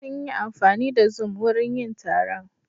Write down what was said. Sun yi amfani da zoom wurin yin taron.